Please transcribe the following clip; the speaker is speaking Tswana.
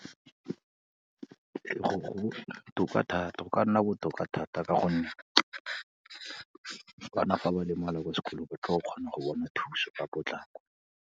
Ee, go botoka thata, go ka nna botoka thata ka gonne bana fa ba lemala ko sekolong, ba tlo go kgona go bona thuso ka potlako.